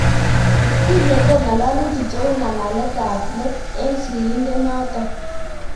Tinyenge ngalalutik cheu ngalaletab ab let en sirisindet noton